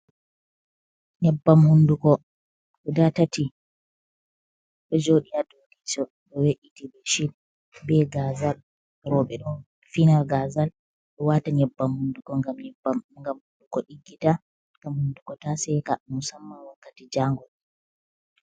Nyeɓɓam hunɗuko guɗa tati ɗo joɗi ha ɗou leso, ɗo we’iti ɓe ɓeshit ɓe gazal ,roɓe ɗo fina gazal ɓe ɗo wata nyeɓɓam hunɗuko gam hunɗuko diggita gam hunɗuko ta seka musamman wakkati jangol.